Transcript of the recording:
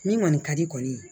Min kɔni ka di kɔni ye